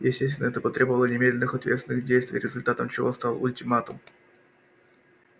естественно это потребовало немедленных ответственных действий результатом чего стал ультиматум